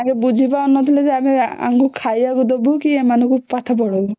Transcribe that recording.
ବୁଝି ପାରୁ ନଥିଲେ ଯେ ୟାଙ୍କୁ ଖାଇବାକୁ ଦବୁ କି ଏମାନଙ୍କୁ ପାଠ ପଢ଼େଇବୁ